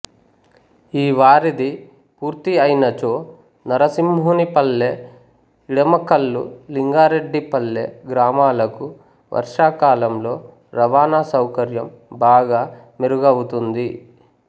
ఈ వారిధి పూర్తి అయినచో నరసింహునిపల్లె ఇడమకల్లు లింగారెడ్డిపల్లె గ్రామాలకు వర్షాకలంలో రవాణా సౌకర్యం బాగా మెరుగవుతుంది